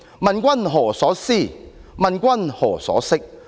問君何所思，問君何所識。